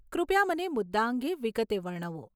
કૃપયા મને મુદ્દા અંગે વિગતે વર્ણવો.